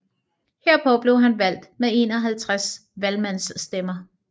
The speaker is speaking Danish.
Herpå blev han valgt med 51 valgmandsstemmer